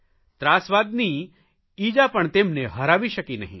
ત્રાસવાદની ઇજા પણ તેમને હરાવી શકી નહીં